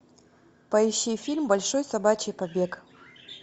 поищи фильм большой собачий побег